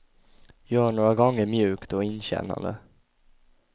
Gör några gånger mjukt och inkännande.